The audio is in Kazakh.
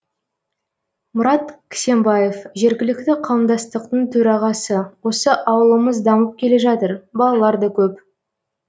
мұрат кісембаев жергілікті қауымдастықтың төрағасы осы ауылымыз дамып келе жатыр балалар да көп